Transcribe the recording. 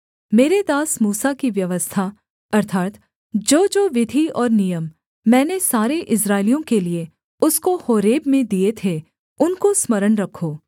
मेरे दास मूसा की व्यवस्था अर्थात् जोजो विधि और नियम मैंने सारे इस्राएलियों के लिये उसको होरेब में दिए थे उनको स्मरण रखो